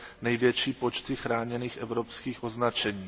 největší počty chráněných evropských označení.